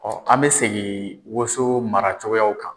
Ɔ an bɛ segin woso maracogoyaw kan.